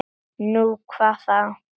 Nú, hvað þá?